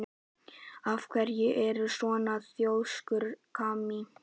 Af hverju ertu svona þrjóskur, Kamí?